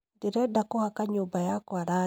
Ndĩrenda kũhaka nyũmba yakwa rangi